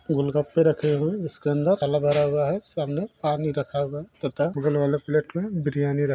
गोलगप्पे रखे हुए है जिसके अंदर फल भरा हुआ है सामने पानी रखा हुआ है तथा बगल वाले प्लेट मे बिर्यानी रख़ी--